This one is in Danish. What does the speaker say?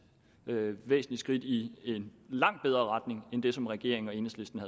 væsentligt skridt i en langt bedre retning end det som regeringen og enhedslisten